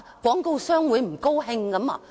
廣告商會不高興嗎？